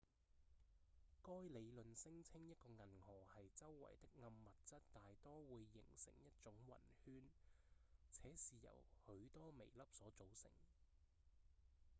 該理論聲稱一個銀河系周圍的暗物質大多會形成一種暈圈且是由許多微粒所組成